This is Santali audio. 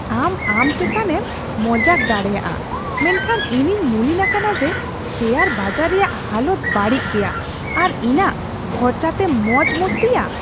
ᱟᱢ ᱟᱢ ᱪᱮᱛᱟᱱᱮᱢ ᱢᱚᱡᱟᱠ ᱫᱟᱲᱮᱭᱟᱜᱼᱟ, ᱢᱮᱱᱠᱷᱟᱱ ᱤᱧᱤᱧ ᱢᱩᱞᱤᱱ ᱟᱠᱟᱱᱟ ᱡᱮ ᱥᱮᱭᱟᱨ ᱵᱟᱡᱟᱨ ᱨᱮᱭᱟᱜ ᱦᱟᱞᱚᱛ ᱵᱟᱹᱲᱤᱡ ᱜᱮᱭᱟ ᱟᱨ ᱤᱧᱟᱜ ᱠᱷᱚᱨᱪᱟ ᱛᱮᱢ ᱢᱚᱡᱽᱼᱢᱚᱥᱛᱤᱭᱟ ᱾